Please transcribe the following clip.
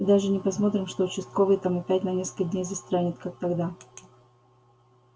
и даже не посмотрим что участковый там опять на несколько дней застрянет как тогда